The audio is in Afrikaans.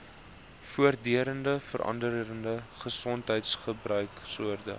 voortdurend veranderende gesondheidsorgbedryf